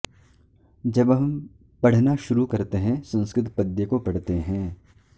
जब हम पढ़ना शुरु करते हैं संस्कृत पद्य को पढ़ते हैं